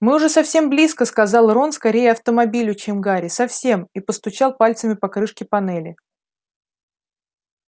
мы уже совсем близко сказал рон скорее автомобилю чем гарри совсем и постучал пальцами по крышке панели